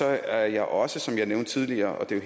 er jeg også som jeg nævnte tidligere og det er